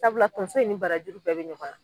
Sabula tonso in ni bara jugu bɛɛ be ɲɔgɔn na.